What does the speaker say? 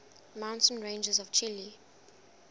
mountain ranges of chile